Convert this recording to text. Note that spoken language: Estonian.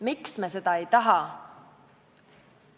Miks me seda ei taha?